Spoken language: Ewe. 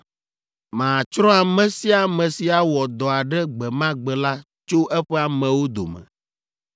Matsrɔ̃ ame sia ame si awɔ dɔ aɖe gbe ma gbe la tso eƒe amewo dome.